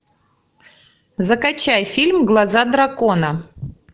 закачай фильм глаза дракона